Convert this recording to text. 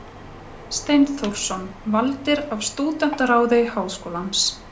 Steinþórsson, valdir af Stúdentaráði Háskólans.